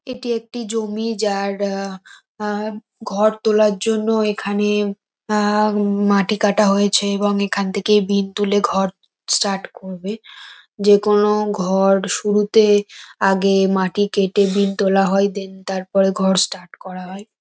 এটি একটি জমি। যার আ আ ঘর তোলার জন্য এখানে আ উম মাটি কাটা হয়েছে এবং এখান থেকে বিম তুলে ঘর স্টার্ট করবে। যে-কোনো ঘর শুরুতে আগে মাটি কেটে বিম তোলা হয়। দেন তারপরে ঘর স্টার্ট করা হয়।